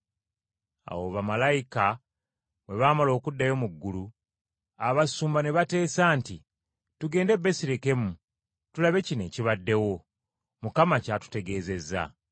Awo bamalayika bwe baamala okuddayo mu ggulu, abasumba ne bateesa nti, “Tugende e Besirekemu tulabe kino ekibaddewo, Mukama ky’atutegeezezza.”